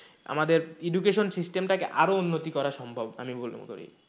আমাদের education system টাকে আরও উন্নতি করা সম্ভব আমি বলে মনে করি,